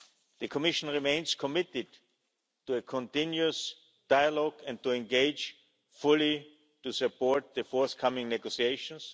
The Commission remains committed to a continuous dialogue and to engage fully to support the forthcoming negotiations.